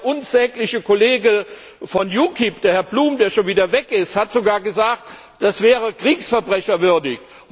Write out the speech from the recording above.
Und der unsägliche Kollege von UKIP, Herr Bloom, der schon wieder weg ist, hat sogar gesagt, das wäre kriegsverbrecherwürdig.